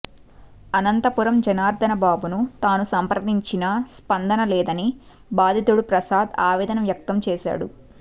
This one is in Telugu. అనంతపురం జనార్ధనబాబును తాను సంప్రదించినా స్పందనలేదని బాధితుడు ప్రసాద్ ఆవేదన వ్యక్తం చేశాడు